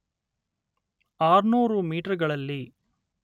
ಆರ್ನೂರು ಮೀಟರ್‌ಗಳಲ್ಲಿ